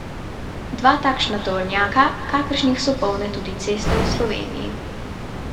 Dva takšna tovornjaka, kakršnih so polne tudi ceste v Sloveniji.